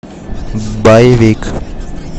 боевик